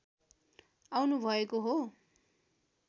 आउनुभएको हो